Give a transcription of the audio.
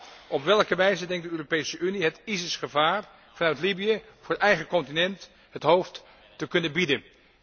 En zo ja, op welke wijze denkt de Europese Unie het IS gevaar vanuit Libië voor eigen continent het hoofd te kunnen bieden?